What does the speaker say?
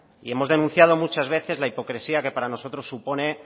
y hemos denunciado muchas veces la hipocresía que para nosotros supone